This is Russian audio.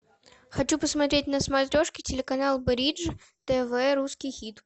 хочу посмотреть на смотрешке телеканал бридж тв русский хит